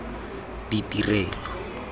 ditirelo